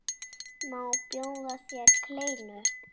Má bjóða þér kleinu?